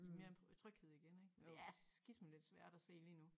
I mere tryghed igen ik men det er skisme lidt svært at se lige nu